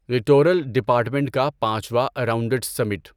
littoral department کا پانچواں اراونڈڈسمنٹ